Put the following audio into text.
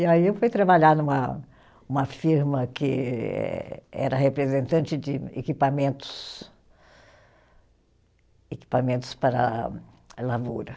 E aí eu fui trabalhar numa uma firma que eh, era representante de equipamentos, equipamentos para a lavoura.